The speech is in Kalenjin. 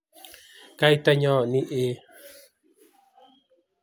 kaitanyo nie